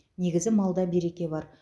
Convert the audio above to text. негізі малда береке бар